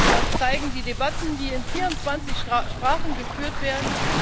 Das zeigen die Debatten, die in 24 Sprachen geführt werden.